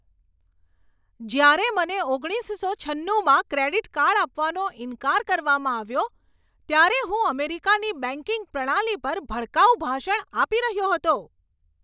જ્યારે મને ઓગણીસસો છન્નુમાં ક્રેડિટ કાર્ડ આપવાનો ઇનકાર કરવામાં આવ્યો ત્યારે હું અમેરિકાની બેંકિંગ પ્રણાલી પર ભડકાઉ ભાષણ આપી રહ્યો હતો.